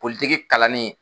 Politigi kalanni